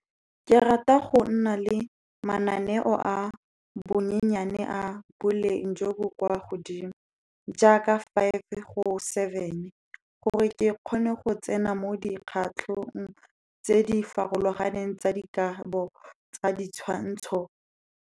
Ke rata go nna le mananeo a bonyenyane a boleng jo bo kwa godimo, jaaka five go seven, gore ke kgone go tsena mo dikgatlhong tse di farologaneng tsa dikago tsa ditshwantsho.